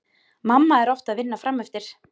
Mamma er oft að vinna frameftir.